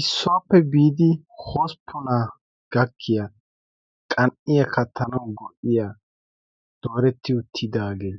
issuwaappe biidi hosppona gakkiya qan''iya kattanau gon''iya dooretti uttidaagee